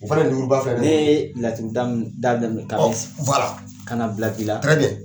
O fana ninnu b'a fɛ, ni laturu da ka na bila bi la